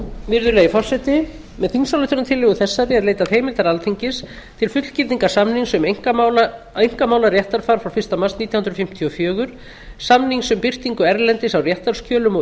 virðulegi forseti með þingsályktunartillögu þessari er leitað heimildar alþingis til fullgildingar samnings um einkamálaréttarfar frá fyrsta mars nítján hundruð fimmtíu og fjögur samnings um birtingu erlendis á réttarskjölum og